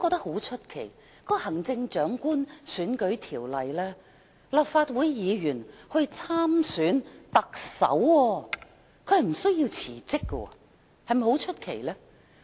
我亦奇怪《行政長官選舉條例》為何會容許立法會議員無須辭職便可以參選特首。